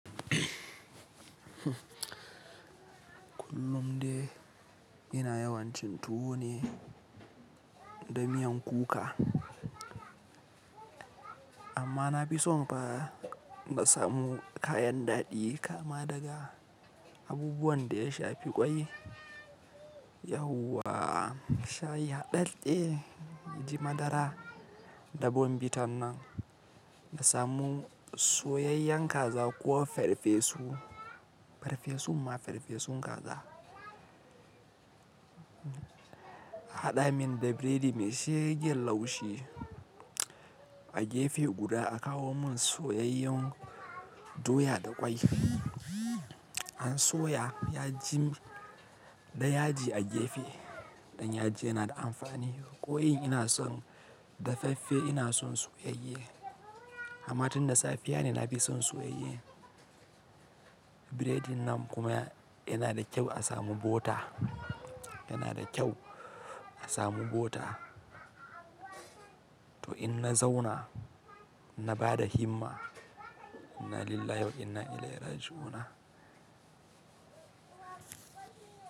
Kullum dai ina yawan cin tuwo ne da miyan kuka. Amma na fi son fa na samu kayan daɗi kama daga abubuwan da ya shafi ƙwai. Yauwa shayi haɗaɗɗe, ya ji madara da Bournvitannan na samu soyayyan kaza ko farfesu, farfesun ma farfesun kaza. A haɗa min da biredi mai shegen laushi. A gefe guda a kawo mun soyayyan doya da ƙwai. An soya yaji da yaji a gefe. Don yaji yana da amfani. Ƙwai ina son dafaffe ina son soyayye. Amma tun da safiya ne na fi son soyayye. Biredin nan kuma yana da kyau a samu bota, yana da kyau a samu bota. To in na zauna na bada himma, inalillahi wa inna ilaihi raji'una.